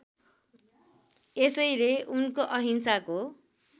यसैले उनको अहिंसाको